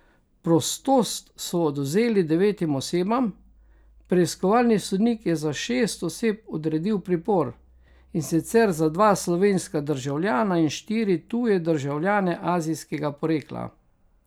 Prostost so odvzeli devetim osebam, preiskovalni sodnik je za šest oseb odredil pripor, in sicer za dva slovenska državljana in štiri tuje državljane azijskega porekla.